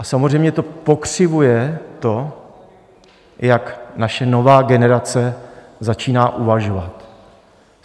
A samozřejmě to pokřivuje to, jak naše nová generace začíná uvažovat.